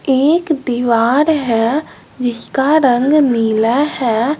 एक दीवार है जिसका रंग नीला है।